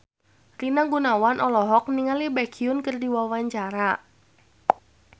Rina Gunawan olohok ningali Baekhyun keur diwawancara